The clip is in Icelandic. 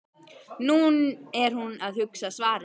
Nú er hún að hugsa svarið.